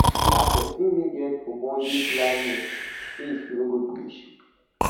if na person wey get ogbonge planning space no go be issue